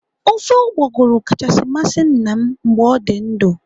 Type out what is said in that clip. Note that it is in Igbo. Ofe ụgbọgụrụ kachasị masị nna m mgbe ọ dị ndụ.